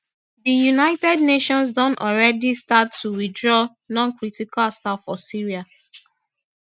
di united nations don alreadi start to withdraw noncritical staff for syria